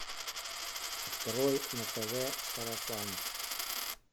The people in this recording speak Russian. открой на тв сарафан